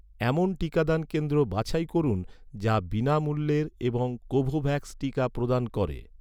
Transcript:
এমন টিকাদান কেন্দ্র বাছাই করুন, যা বিনামূল্যের এবং কোভোভ্যাক্স টিকা প্রদান করে